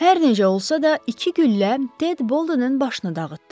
Hər necə olsa da, iki güllə Ted Boldenin başını dağıtdı.